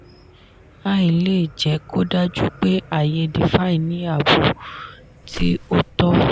"ai" lè jẹ́ kó dájú pé ààyè "defi" ní ààbò tí ó tọ́.